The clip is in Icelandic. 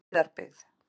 Hæðarbyggð